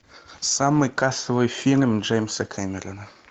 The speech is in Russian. самый кассовый фильм джеймса кэмерона